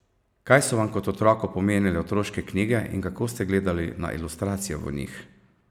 Kaj so vam kot otroku pomenile otroške knjige in kako ste gledali na ilustracije v njih?